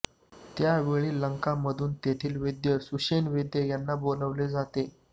त्यावेळी लंका मधून तिथले वैद्य सुषेण वैद्य यांना बोलावले जाते